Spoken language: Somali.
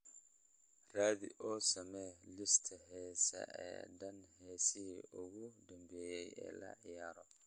raadi oo samee liiska heesaha oo dhan heesihii ugu dambeeyay ee la ciyaaro